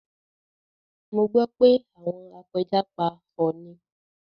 Mo gbọ́ pé àwọn apẹja pa ọọ̀ni